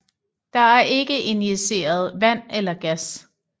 Der er ikke injiceret vand eller gas